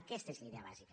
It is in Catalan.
aquesta és la idea bàsica